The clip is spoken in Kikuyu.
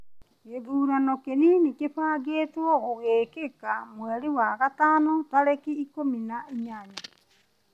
Gĩthurano kĩnini kĩbangĩtũo gũgĩĩkĩka mweri wa gatano tarĩki ikũmi na inyanya.